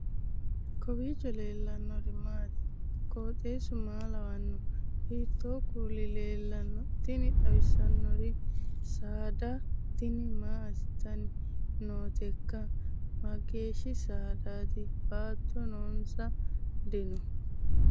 kowiicho leellannori maati ? qooxeessu maa lawaanno ? hiitoo kuuli leellanno ? tini xawissannori saada tini maa assitanni nooteikka mageeshshi saadaati bootta noonso dino